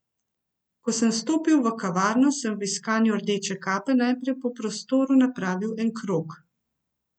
Ko sem vstopil v kavarno, sem v iskanju rdeče kape najprej po prostoru napravil en krog.